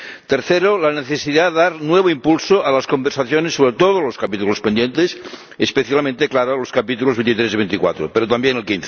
En tercer lugar, la necesidad de dar nuevo impulso a las conversaciones sobre todos los capítulos pendientes —especialmente, claro, los capítulos 23 y 24, pero también el